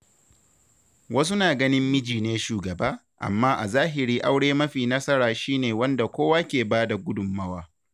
Wasu na ganin miji ne shugaba, amma a zahiri aure mafi nasara shi ne wanda kowa ke ba da ,gudummawa.